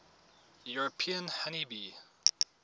european honey bee